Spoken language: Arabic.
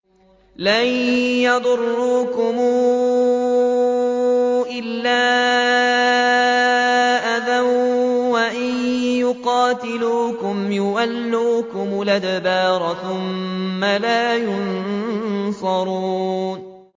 لَن يَضُرُّوكُمْ إِلَّا أَذًى ۖ وَإِن يُقَاتِلُوكُمْ يُوَلُّوكُمُ الْأَدْبَارَ ثُمَّ لَا يُنصَرُونَ